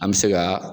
An bɛ se ka